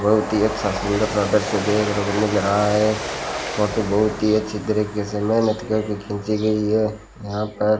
बहुत ही अच्छा सुंदर सा दृश्य देखने को मिल रहा है फोटो बहुत ही अच्छी तरीके से मेहनत करके खींची गई है यहां पर--